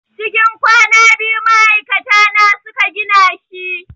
Cikin kwana biyu ma'aikata na su ka gina shi.